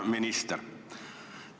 Hea minister!